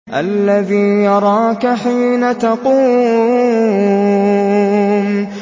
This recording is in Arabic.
الَّذِي يَرَاكَ حِينَ تَقُومُ